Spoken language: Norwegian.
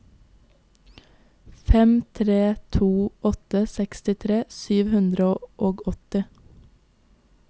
fem tre to åtte sekstitre sju hundre og åtti